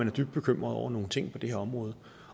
er dybt bekymret over nogle ting på det her område